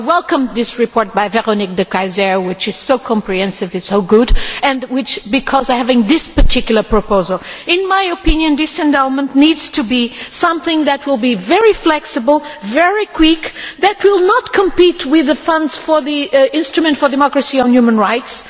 So I welcome this report by Véronique De Keyser, which is so comprehensive and so good, and which contains this particular proposal. In my opinion this endowment needs to be something that will be very flexible, very quick, and which will not compete with the funds for the instrument for democracy on human rights.